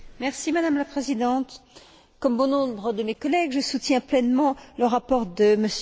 Madame la Présidente, comme bon nombre de mes collègues, je soutiens pleinement le rapport de M.